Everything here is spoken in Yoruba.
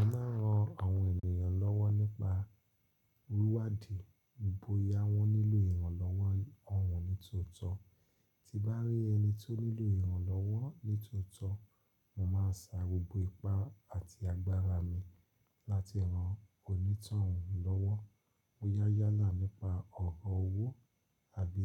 Mo máa ń ran àwọn ènìyàn lọ́wọ́ nípa rúwádìí bóyá wọ́n nílò ìrànlọ́wọ́ ọ̀hún nítòótọ́. Ti bá rí ẹni tó nílò ìrànlọ́wọ́ nítòótọ́, mò máa sa gbogbo ipá àti agbára mi láti ran onítànrànlọ́wọ́. Mó yá yálà nípa ọ̀rọ̀ owó àbí